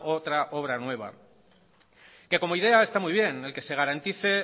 otra obra nueva que como idea está muy bien el que se garantice